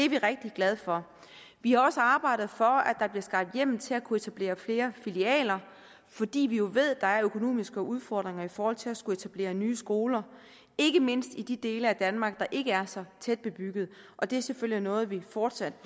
vi rigtig glade for vi har også arbejdet for at der bliver skabt hjemmel til at kunne etablere flere filialer fordi vi jo ved at der er økonomiske udfordringer i forhold til at skulle etablere nye skoler ikke mindst i de dele af danmark der ikke er så tæt bebyggede og det er selvfølgelig noget vi fortsat